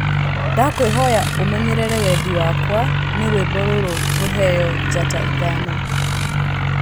ndakwīhoya ūmenyerere wendī wakwa nī rwīmbo rūrū rūheyo njata ithano